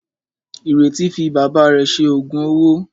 Ìrètí fi bàbá rẹ̀ ṣe òògùn owó.